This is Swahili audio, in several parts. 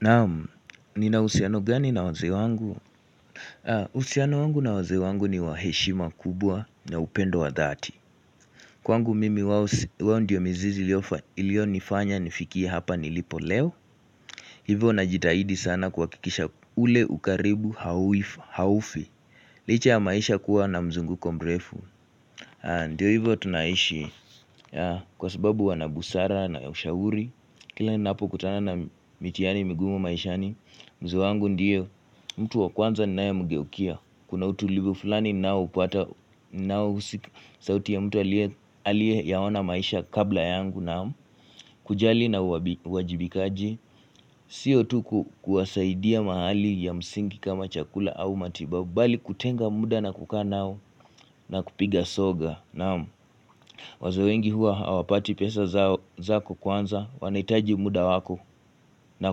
Naam, nina uhusiano gani na wazee wangu? Uhusiano wangu na wazee wangu ni wa heshima kubwa na upendo wa dhati. Kwangu mimi wao ndiyo mizizi ilionifanya nifikie hapa nilipo leo. Hivo na jitahidi sana kuhakikisha ule ukaribu haufi. Licha ya maisha kuwa na mzunguko mrefu. Ndiyo hivyo tunaishi. Kwa sababu wana busara na ushauri. Kila ninapokutana na mitihani migumu maishani mzee wangu ndiyo. Mtu wa kwanza ninayemgeukia. Kuna utulivu fulani ninaoupata Nahusika. Sauti ya mtu aliyeyaona maisha kabla yangu naam kujali na uwajibikaji sio tu kuwasaidia mahali ya msingi kama chakula au matibabu bali kutenga muda na kukaa nao na kupiga soga nao wazee wengi huwa hawapati pesa zako kwanza. Wanahitaji muda wako na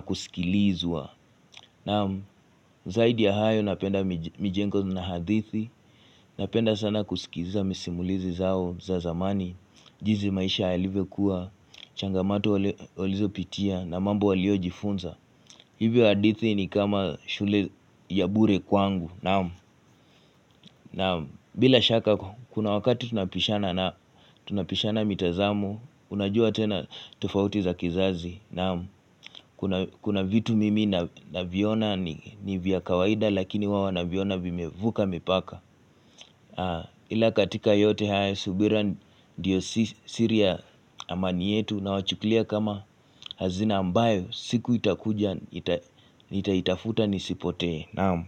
kusikilizwa. Naam, zaidi ya hayo napenda mijengo na hadithi. Napenda sana kusikiza misimulizi zao za zamani jinsi maisha yalivyokuwa, changamoto walizopitia na mambo waliojifunza Hivyo hadithi ni kama shule ya bure kwangu, naam bila shaka, kuna wakati tunapishana nao tunapishana mitazamo. Unajua tena tofauti za kizazi. Naam kuna Kuna vitu mimi naviona ni vya kawaida lakini wao wanaviona vimevuka mipaka Ila katika yote haya subira ndiyo siri ya amani yetu. Nawachukulia kama hazina ambayo siku itakuja nitaitafuta nisipotee, Naam.